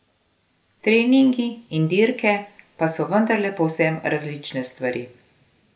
Treningi in dirke pa so vendarle povsem različne stvari.